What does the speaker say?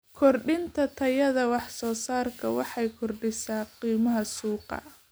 Kordhinta tayada waxsoosaarka waxay kordhisaa qiimaha suuqa.